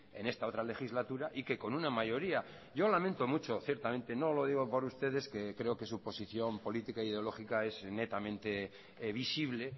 en esta otra legislatura y que con una mayoría yo lamento mucho ciertamente no lo digo por ustedes que creo que su posición política ideológica es netamente visible